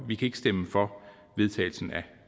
vi kan ikke stemme for